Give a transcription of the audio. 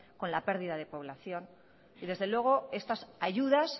con la pérdida de población y desde luego estas ayudas